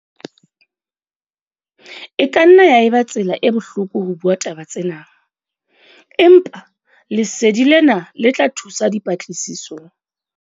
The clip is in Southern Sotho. E ka nna ya eba tsela e bohloko ho bua taba tsena, empa lesedi lena le tla thusa dipatlisisong.